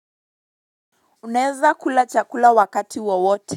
Uneza kula chakula wakati wowote.